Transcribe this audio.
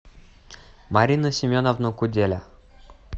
марина семеновна куделя